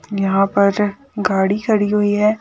यहां पर गाड़ी खड़ी हुई है।